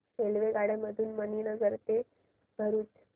रेल्वेगाड्यां मधून मणीनगर ते भरुच